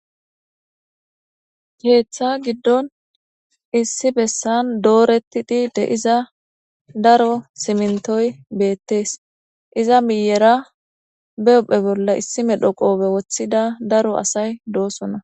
keeththa giddon issi bessan dooreti di de iza daro simintoy beettees iza miyera beophphe bolla issimedhoqobe woththida daro asay doosona